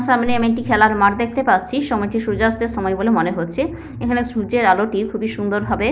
আমার সামনে আমি একটি খেলার মাঠ দেখতে পাচ্ছি। সময়টি সূর্যাস্তের সময় বলে মনে হচ্ছে এখানে সূর্যের আলোটি খুবই সুন্দর ভাবে--